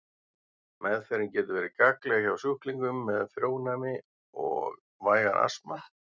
Meðferðin getur verið gagnleg hjá sjúklingum með frjónæmi og vægan astma.